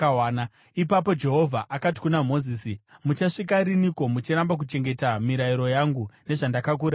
Ipapo Jehovha akati kuna Mozisi, “Muchasvika riniko muchiramba kuchengeta mirayiro yangu nezvandakakurayirai?